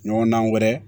Ɲɔgɔndan wɛrɛ